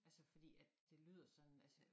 Altså fordi at det lyder sådan altså